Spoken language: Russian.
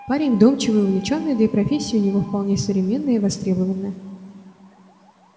парень вдумчивый увлечённый да и профессия у него вполне современная и востребованная